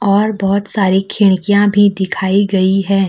और बहुत सारी खिड़कियां भी दिखाई गई है।